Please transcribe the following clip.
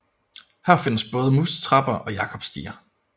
Her findes både musetrapper og jakobsstiger